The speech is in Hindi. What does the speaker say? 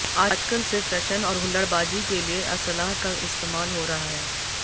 आजकल सिर्फ टशन और हुल्लड़बाजी के लिए असलाह का इस्तेमाल हो रहा है